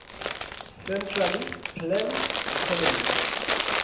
centrally planned economy